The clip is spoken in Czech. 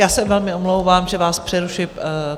Já se velmi omlouvám, že vás přerušuji.